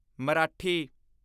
Marathi